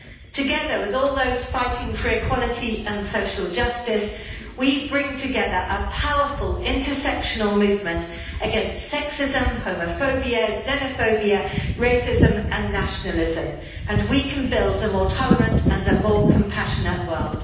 Together with all those fighting for equality and social justice, we bring together a powerful intersectional movement against sexism, homophobia, xenophobia, racism and nationalism, and we can build a more tolerant and a more compassionate world.